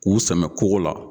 K'u sɛmɛ kogo la.